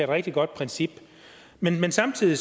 rigtig godt princip men vil samtidig